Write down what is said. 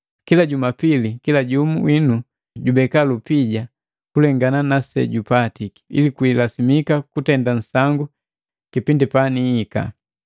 Kila jumapili kila jumu winu jubeka lupija kulengana nasejupatiki, ili kwilasimika kutenda nsangu kipindi panihika.